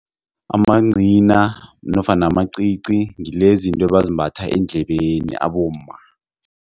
Amancina nofana amacici ngilezinto ebazimbatha eendlebeni abomma.